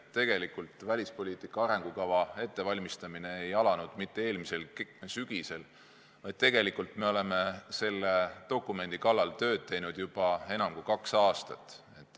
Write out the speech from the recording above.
Tegelikult välispoliitika arengukava ettevalmistamine ei alanud mitte eelmisel sügisel, vaid me oleme selle dokumendi kallal tööd teinud juba enam kui kaks aastat.